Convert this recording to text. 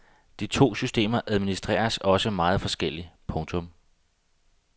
De to systemer administreres også meget forskelligt. punktum